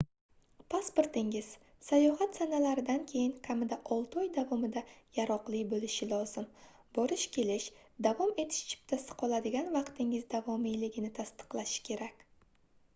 pasportingiz sayohat sanalaridan keyin kamida 6 oy davomida yaroqli boʻlishi lozim. borish-kelish/davom etish chiptasi qoladigan vaqtingiz davomiyligini tasdiqlashi kerak